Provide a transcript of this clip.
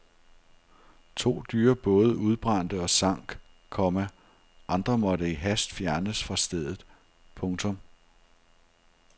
To dyre både udbrændte og sank, komma andre måtte i hast fjernes fra stedet. punktum